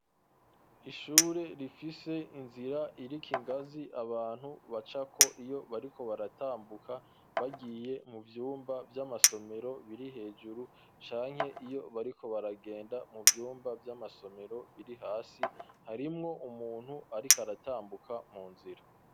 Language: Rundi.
Ishure rifise inzira iriko ingazi, abantu bacako iyo bariko baratambuka, bagiye mu vyumba vy'amasomero biri hejuru, canke iyo bariko baragenda mu vyumba vy'amasomero biri hasi, harimwo umuntu ariko aratambuka mu nzira.